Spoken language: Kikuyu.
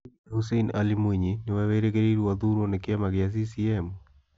Hihi Hussein Ali Mwinyi nĩwe wĩrĩgĩrĩirwo athurwo ni kiama gia CCM?